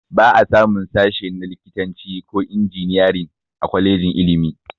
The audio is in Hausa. Ba a samun sashe na likitanci ko injiniyarin a kwalejin ilmin